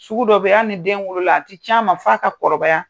Sugu dɔ be in, hali ni den wolola a ti can ma f'a ka kɔrɔbaya.